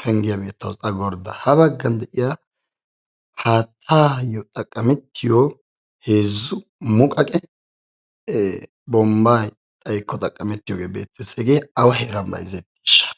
penggiya beettawusu, a gordda. Ayyo xaqqamettiyo haattayo xaqqamettiyo heezzu muqqaqe bombbay xaykko xaqqamettiyogee beettees. Hegee awa heeran bayzzetiyaageshsha?